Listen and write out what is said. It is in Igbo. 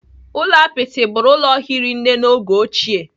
Ụlọ apịtị bụrụ ụlọ hiri nne n'oge ochie.